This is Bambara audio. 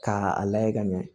K'a lajɛ ka ɲɛ